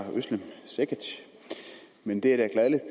cekic men det